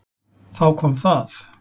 Þá kom það.